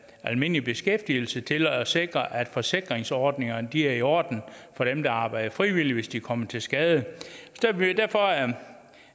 almindelig beskæftigelse til at sikre at forsikringsordningerne er i orden for dem der arbejder frivilligt hvis de kommer til skade derfor